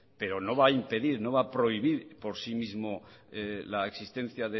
pero no va a impedir no va prohibir por sí mismo la existencia